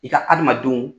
I ka adamadenw